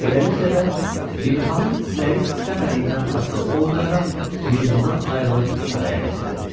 Beləliklə də, Bibixanım istəyib-istəmədiyindən asılı olmayaraq, yurdundan ayrılıb saraya gətirildi.